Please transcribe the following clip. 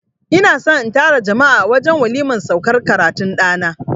I na son na tara jama'a a wajen waliman saukar karatun ɗana.